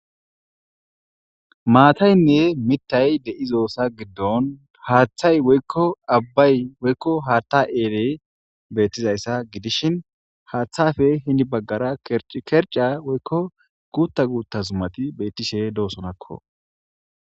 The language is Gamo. Maataynne mitay de7izosa giddon haaththay woykko abbay woykko haatta eele beettizayssa gidishin haaththafe hindi baggara kerca woykko guutta guutta zumati bettishe doosonakko.